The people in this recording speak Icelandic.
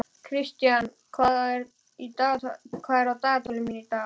Kristian, hvað er á dagatalinu mínu í dag?